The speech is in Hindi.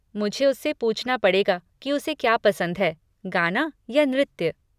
मुझे उससे पूछना पड़ेगा कि उसे क्या पसंद है, गाना या नृत्य।